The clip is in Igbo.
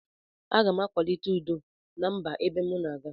Agam akwalite udo na mba ebe mu na aga.